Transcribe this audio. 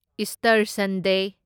Easter Sunday